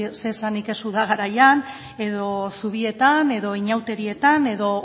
zer esanik ez uda garaian edo zubietan edo inauterietan edo